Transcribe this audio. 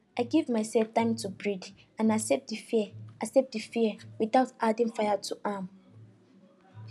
i give myself time to breathe and accept the fear accept the fear without adding fire to am